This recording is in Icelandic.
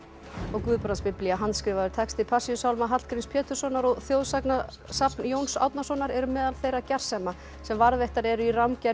Guðbrandsbiblía handskrifaður texti Passíusálma Hallgríms Péturssonar og þjóðsagnasafn Jóns Árnasonar eru meðal þeirra gersema sem varðveittar eru í